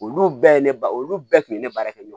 Olu bɛɛ ne ba olu bɛɛ kun bɛ ne baara kɛ ɲɔgɔn fɛ